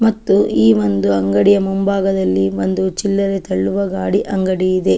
ಮತ್ತು ಈ ಒಂದು ಅಂಗಡಿಯ ಮುಂಭಾಗದಲ್ಲಿ ಒಂದು ಚಿಲ್ಲರೆ ತಳ್ಳುವ ಗಾಡಿ ಅಂಗಡಿ ಇದೆ .